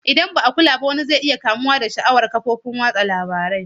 Idan ba a kula ba wani zai iya kamuwa da sha'awar ƙafofin watsa labaru.